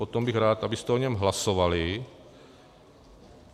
Potom bych rád, abyste o něm hlasovali.